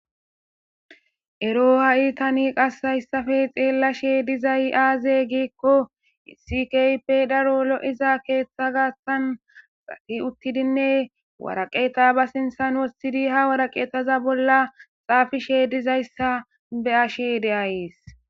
ero ha'i tani qassayssafe xeellashe dizay aaze giikko isi kype daro lo'iza keeththa gaassan safi uttidinne waraqeta ba sinsan wossidi ha waraqeetaza bolla xaafishe dizayssa beyashe deayees.